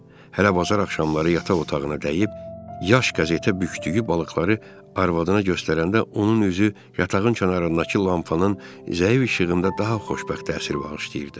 Hətta bazar axşamları yataq otağına dəyib, yaş qəzetə bükdüyü balıqları arvadına göstərəndə onun üzü yatağın kənarındakı lampanın zəif işığında daha xoşbəxt təsir bağışlayırdı.